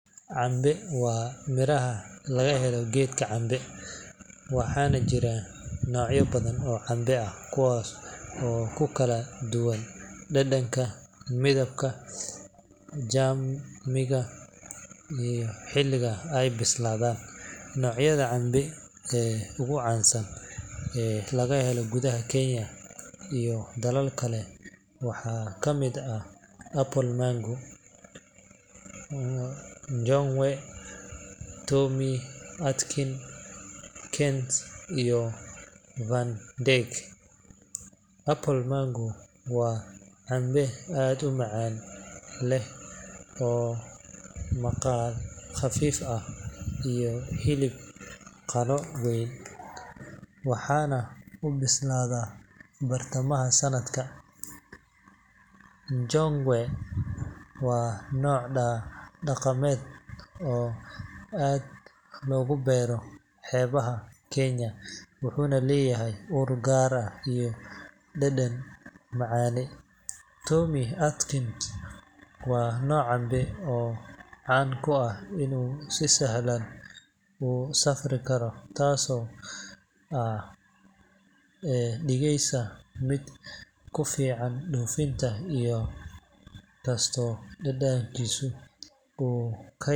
Cambe waa midhaha laga helo geedka cambe, waxaana jira noocyo badan oo cambe ah kuwaas oo ku kala duwan dhadhanka, midabka, xajmiga iyo xilliga ay bislaadaan. Noocyada cambe ee ugu caansan ee laga helo gudaha Kenya iyo dalal kale waxaa ka mid ah Apple mango, Ngowe, Tommy Atkins, Kent iyo Van Dyke. Apple mango waa cambe aad u macaan leh oo leh maqa khafiif ah iyo hilib qaro weyn, waxaana uu bislaadaa bartamaha sanadka. Ngowe waa nooc dhaqameed oo aad loogu beero xeebaha Kenya, wuxuuna leeyahay ur gaar ah iyo dhadhan macaane. Tommy Atkins waa nooc cambe ah oo caan ku ah inuu si sahlan u safri karo, taasoo ka dhigeysa mid ku fiican dhoofinta, in kastoo dhadhankiisu uu ka yara.